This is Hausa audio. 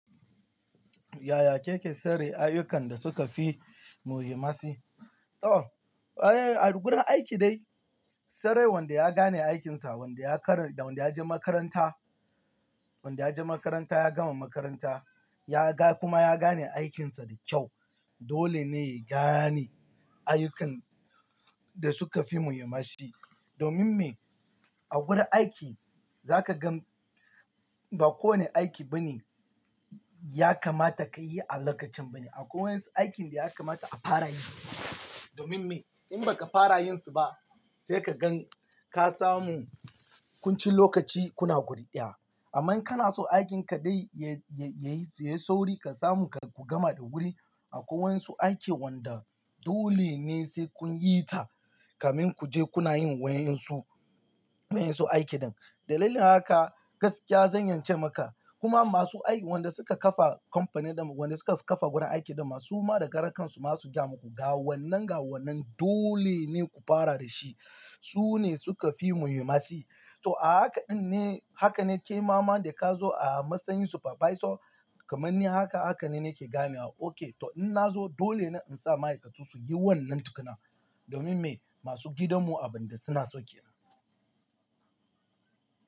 Yaya Keke sare ayyukan da suka fi muhimmanci? To, a wurin aiki dai, sai dai wanda ya gane aikinsa, wanda ya kar-- da wanda ya je makaranta, wanda ya je makaranta ya gama makaranta, ya ga kuma ya gane aikinsa da kyau. Dole ne ya gane ayyukan da suka fi muhimmanci. Domin me? A wurin aiki za ka gan ba kowane aiki bane ya kamata ka yi a lokacin bane. Akwai wasu aikin da ya kamata a fara yi. Domin me? In ba ka fara yin su ba, sai ka gan ka samu kun cin lokaci kuna gurɗiya. Aman in kana so aikin ka dai ya, ya, ya yi, ya yi sauri ka samu ka ku gama da wuri. Akwai wa'insu aikin wanda dole ne sai kun yi ta kamin ku je kuna yin wa'en su, wa'en su aiki din. Dalilin haka gaskiya zan iya ince maka, kuma masu aiki, wanda suka kafa kamfani da, wanda suka kafa gurin aiki ɗinma suma da karan kansu ma su gaya muku, "Ga wannan, ga wannan dole ne ku fara da shi." Su ne suka fi muhimmanci. To a haka ɗin ne, haka ne kaimama da ka zo a matsayin supervisor kamar ni haka, haka ne nake gane wa. Ok, to in na zo dole ne in sa ma'aikatu su yi wannan tukuna. Domin me? Masu gidan mu abin da suna so kenan.